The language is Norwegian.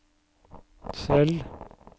Sel